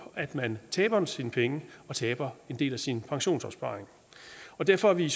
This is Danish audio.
at man taber sine penge og taber en del af sin pensionsopsparing derfor er vi